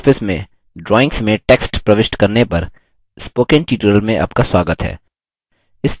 libreoffice में drawings में text प्रविष्ट करने पर spoken tutorial में आपका स्वागत है